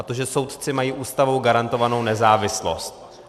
A to že soudci mají Ústavou garantovanou nezávislost.